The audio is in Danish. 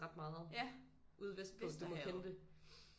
Ret meget ude vestpå du må kende det